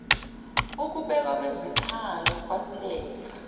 ukubekwa kwezikhali ukwaluleka